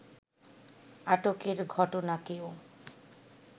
আটকের ঘটনাকেও